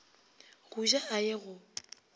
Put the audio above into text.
go ja a ye go